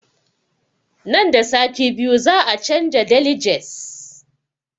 Nan da sati biyu za mu canza deliges